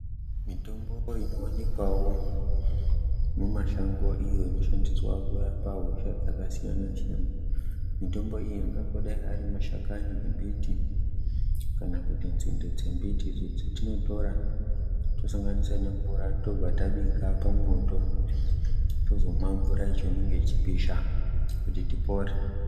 Mitombo inoonekwawo mumashango iyo inoshandiswa kurapa hosha dzakasiyana siyana. Mitombo iyi ingangodei ari mashakani embiti kana kuti nzinde dzemiti idzo dzatinotora tosanganisa nemvura tobva tabika pamoto tozomwa mvura yacho inenge yechipisha kuti tipore.